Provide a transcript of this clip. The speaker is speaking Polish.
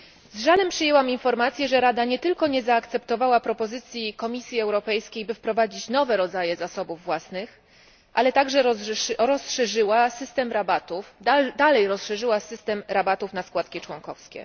Z żalem przyjęłam informację, że Rada nie tylko nie zaakceptowała propozycji Komisji Europejskiej, by wprowadzić nowe rodzaje zasobów własnych, ale także dalej rozszerzyła system rabatów na składki członkowskie.